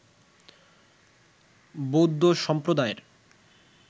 বৌদ্ধ সম্প্রদায়ের